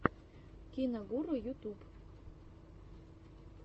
киногуру ютуб